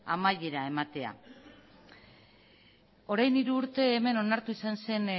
amaiera ematea orain hiru urte hemen onartu izan zen